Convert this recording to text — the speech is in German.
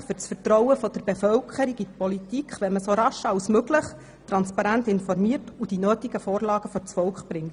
Auch das Vertrauen der Bevölkerung in die Politik würde gestärkt, wenn man so rasch wie möglich transparent informiert und die notwendigen Vorlagen vor das Volk bringt.